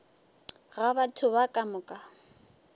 ga batho ba ka moka